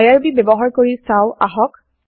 IRB ব্যৱহাৰ কৰি চাও আহক